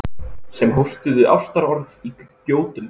Sem hóstuðu ástarorð í gjótum.